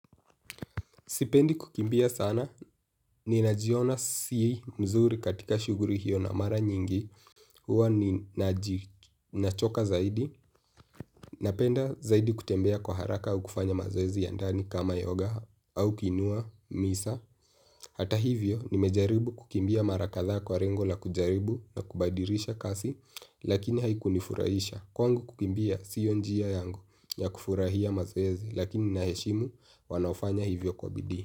Sipendi kukimbia sana, ninajiona si mzuri katika shuguli hiyo na mara nyingi, huwa ni nachoka zaidi, napenda zaidi kutembea kwa haraka au kufanya mazoezi ya ndani kama yoga au kiinua, misa. Hata hivyo, nimejaribu kukimbia mara kadhaa kwa lengo la kujaribu na kubadilisha kasi, lakini haikunifurahisha. Kwangu kukimbia siyo njia yangu ya kufurahia mazoezi lakini naheshimu wanaofanya hivyo kwa bidii.